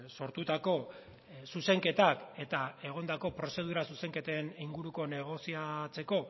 sortutako zuzenketak eta egondako prozedura zuzenketen inguruko negoziatzeko